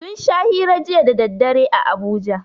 Sun sha hira jiya da daddare a Abuja.